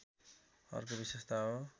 अर्को विशेषता हो